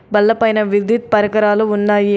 బల్ల పైన విద్యుత్ పరికరాలు ఉన్నాయి.